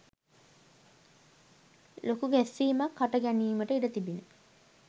ලොකු ගැස්සීමක් හට ගැනීමට ඉඩ තිබිණි.